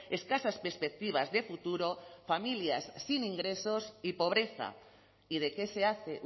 escasas perspectivas de futuro familias sin ingresos y pobreza y de qué se hace